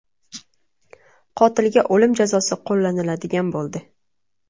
Qotilga o‘lim jazosi qo‘llaniladigan bo‘ldi.